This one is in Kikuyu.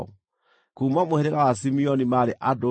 Kuuma mũhĩrĩga wa Simeoni maarĩ andũ 59,300.